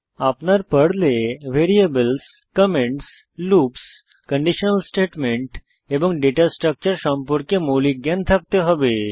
আপনার পর্লে variables comments loops conditional statement এবং ডেটা স্ট্রাকচার সম্পর্কে মৌলিক জ্ঞান থাকতে হবে